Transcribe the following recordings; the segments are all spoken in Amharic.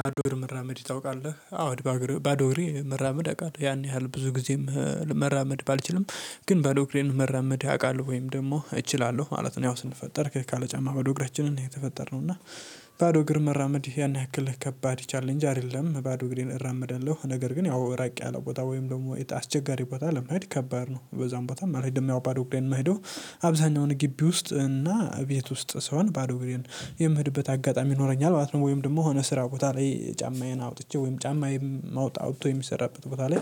በባዶ እግር መራመድ ታውቃለህ? አዎ ባዶ እግር መራመድ አውቃለሁ ያን ያህል ብዙ ጊዜም መራመድ ባልችልም ግን ባዶ እግሬን መራመድ ያውቃል ወይም ደግሞ እችላለሁ ማለት ነው ያው ስንፈጠር ካለ ጫማ እግራችንን ነው የተፈጠርነው እና ባዶ እግር መራመድ ያን ያክልህ ከባድ ቻሌንጅ አይደለም። ባዶ እግር እራመዳለሁ ነገር ግን ያው ራቅ ያለው ቦታ ወይም ደግሞ አስቸጋሪ ቦታ ለመሄድ ከባድ ነው በዙም ቦታ አልሄድም ያው ባዶ እንደማሄደው አብዛኛውን ግቢ ውስጥ እና ቤት ውስጥ ስሆን ባዶ እግሬን አጋጣሚ ይኖረኛል ማለት ነው ወይም ደግሞ ሆነ ስራ ቦታ ላይ ጫማዬን አውጥቼ ወይም ጫማዬን ማውጣት ወይም የሚሰራበት ቦታ ላይ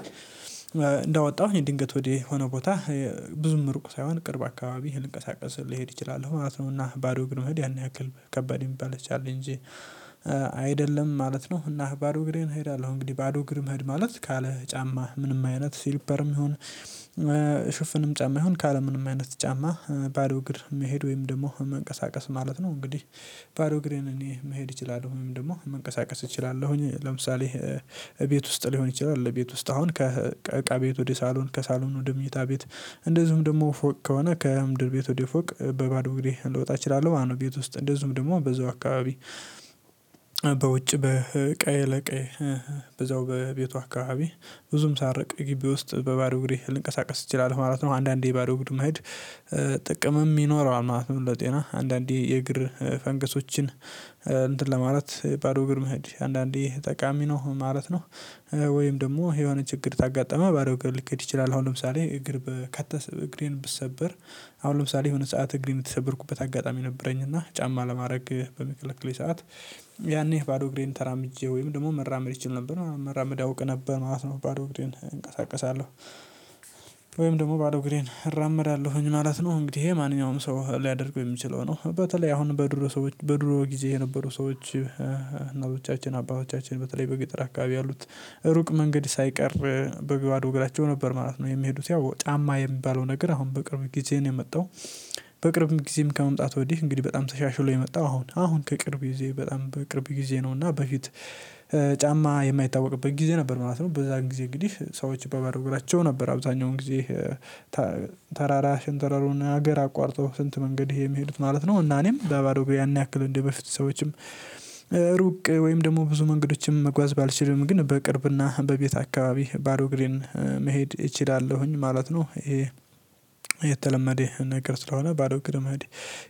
እንዳወጣሁ ይሄ የድንገት ወዲህ ሆኖ ቦታ ብዙም ርቁ ሳይሆን ቅርብ አካባቢ ልንቀሳቀስ ልሄድ እችላለሁ ማለት ነውና ባዶ እግር መሄድ ያን ያክል ከባድ የሚባል ቻሌንጅ አይደለም ማለት ነው እና ባዶ እግሬን እሄዳለሁ እንግዲህ ባዶ እግሬም ማለት ካለ ጫማ ምንም አይነት ሲልፐርም ይሁን ጫማ ይሁን ካለምንም አይነት ጫማ ባዶ እግር መሄድ ወይም ደግሞ መንቀሳቀስ ማለት ነው እንግዲህ ባዶ እግሬን እኔ መሄድ እችላለሁ ወይም ደግሞ መንቀሳቀስ እችላለሁኝ ለምሳሌ ቤት ውስጥ ሊሆን ይችላል ቤት አሁን ከእቃ ቤት ወደ ሳሎን ከሳሎን ወደ መኝታ ቤት እንደዚሁም ደግሞ ፎቅ ከሆነ ከምድር ቤት ወደ ፎቅ በባዶ እንግዲህ ልወጣ እችላለሁ ማለት ነው ቤት ውስጥ እንደዚሁም ደግሞ በዛው አካባቢ በውጭ በቀይ ለቀይ በዛው በቤቱ አካባቢ ብዙም ሳልርቅ ግቢ ውስጥ በባዶ እግሬ ልንቀሳቀስ እችላለሁ ማለት ነው። አንዳንዴ የባዶ ቡድን ማየት ጥቅምም ይኖረዋል ማለት ነው ለጤና አንዳንዴ የእግር ፈንገሶችን እንትን ለማለት ባዶ እግር መሄድ አንዳንዴ ጠቃሚ ነው ማለት ነው ወይም ደግሞ የሆነ ችግር ካጋጠመ ባዶ እግር ልኬድ ይችላል። አሁን ለምሳሌ እግር በከተ እግሬን ብሰበር አሁን ለምሳሌ የሆነ ሰዓት እግር የምትሰበርኩበት አጋጣሚ ነበረኝ እና ጫማ ለማድረግ በምከለክለኝ ሰዓት ያኔ ባዶ እግሬን ተራምጄ ወይም ደግሞ መራመድ ይችል ነበር መራመድ አውቅ ነበር ማለት ነው ባዶ እግረን እንቀሳቀሳለሁ ወይም ደግሞ ባዶ እግሬን እራመዳለሁኝ ማለት ነው። እንግዲህ ይሄ ማንኛውም ሰው ሊያደርገው የሚችለው ነው በተለይ አሁን በድሮ ሰዎች በድሮ ጊዜ የነበሩ ሰዎች አባቶቻችን በተለይ በገጥር አካባቢ ያሉት ሩቅ መንገድ ሳይቀር በባዶ እግራቸው ነበር ማለት ነው የሚሄዱት። ያው ጫማ የሚባለው ነገር አሁን በቅርብ ጊዜ ነው የመጣው በቅርብ ጊዜም ከመምጣቱ ወዲህ እንግዲህ በጣም ተሻሽሎ የመጣው አሁን አሁን ከቅርብ ጊዜ በጣም በቅርብ ጊዜ ነው እና በፊት ጫማ የማይታወቅበት ጊዜ ነበር ማለት ነው በዛ ጊዜ እንግዲህ ሰዎች በባዶ እግራቸው ነበር አብዛኛውን ጊዜ ተራራ ሸንተረሩን ሀገር አቋርጠው ስንት መንገድ ይሄ የሚሄዱት ማለት ነው እና እኔም በባዶ እግሬ ያን ያክል እንደበፊት ሰዎችም ሩቅ ወይም ደግሞ ብዙ መንገዶችም መጓዝ ባልችልም ግን በቅርብና በቤት አካባቢ ባዶ እግሬን መሄድ እችላለሁኝ ማለት ነው ይሄ የተለመደ ነገር ስለሆነ ባዶ እግር መሄድ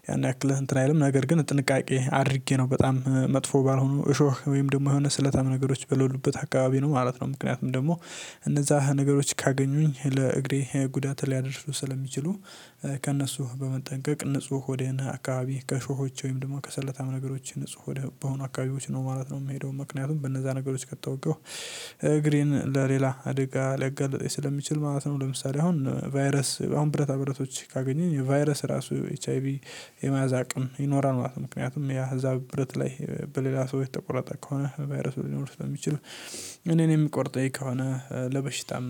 ያን ያክልህ እንትን አይልም። ነገር ግን ጥንቃቄ አድርጌ ነው በጣም መጥፎ ባልሆኑ እሾህ ወይም ደግሞ የሆነ ስለታም ነገሮች በለሉበት አካባቢ ነው ማለት ነው ምክንያቱም ደግሞ እነዛ ነገሮች ካገኙኝ ለእግሬ ጉዳት ሊያደርሱ ስለሚችሉ ከእነሱ በመጠንቀቅ ንጹህ ወደ አካባቢ ከእሾሆች ወይም ደግሞ ከሰለታም ነገሮች ንጹህ ወደ በሆነ አካባቢዎች ነው ማለት ነው። የምሄደው ምክንያቱም በእነዛ ነገሮች ቀጥሎ እውቀው እግሬን ለሌላ አደጋ ሊያጋልጠኝ ስለሚችል ማለት ነው። ለምሳሌ አሁን ቫይረስ አሁን ብረታ ብረቶች ካገኘኝ የቫይረስ ራሱ ኤች አይ ቪ የመያዝ አቅም ይኖራል ምክንያቱም ያ እዛ ብረት ላይ በሌላ ሰው የተቆረጠ ከሆነ ቫይረስ ሊኖር የሚችል እኔን የሚቆርጠኝ ከሆነ ለበሽታም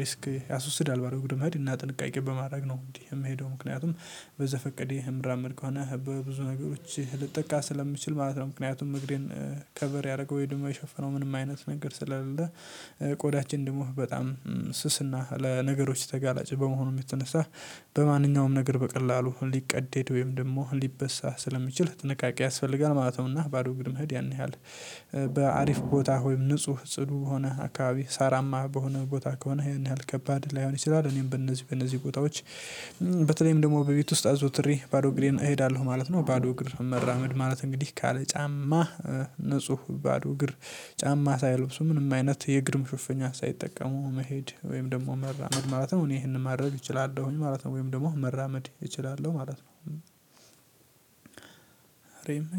ሪስክ ያስወስዳል ባዶ እግር መሄድ ጥንቃቄ በማድረግ ነው። የምሄደው ምክንያቱም በዘፈቀዴ የምራመድ ከሆነ በብዙ ነገሮች ልጠቃ ስለምችል ማለት ነው ምክንያቱም እግሬን ከቨር ያደረገው ወይ ደግሞ ሸፍነው ምንም አይነት ነገር ስላለ ቆዳችን ደግሞ በጣም ስስና ለነገሮች ተጋላጭ በመሆኑ የምትነሳ በማንኛውም ነገር በቀላሉ ሊቀደድ ወይም ደግሞ ሊበሳ ስለሚችል ጥንቃቄ ያስፈልጋል ማለት ነውና። ባዶ እግር መሄድ ያን ያህል በአሪፍ ቦታ ወይም ንጹህ ጽዱ ሆነህ አካባቢ ሳራማ በሆነ ቦታ ከሆነ ያን ያህል ከባድ ላይሆን ይችላል እኔም በእነዚህ በእነዚህ ቦታዎች በተለይም ደግሞ በቤት ውስጥ አዘውትሬ ባዶ እግሬን እሄዳለሁ ማለት ነው ባዶ እግሬ መራመድ ማለት እንግዲህ ካለ ጫማ ንጹህ ባዶ እግር ጫማ ሳይለብሱ ምንም አይነት የእግር ምሽፍኛ ሳይጠቀሙ መሄድ ወይም ደግሞ መራመድ ማለት ነው እኔ ይሄንን ማድረግ እችላለሁኝ ማለት ነው ወይም ደግሞ መራመድ እችላለሁ ማለት ነው